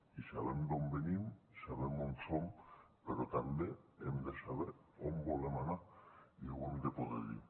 i sabem d’on venim sabem on som però també hem de saber on volem anar i ho hem de poder dir